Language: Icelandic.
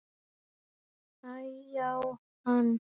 Æ-já, hann.